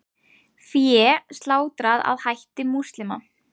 Fé slátrað að hætti múslima